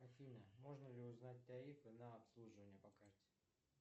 афина можно ли узнать тарифы на обслуживание по карте